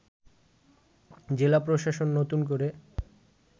জেলা প্রশাসন নতুন করে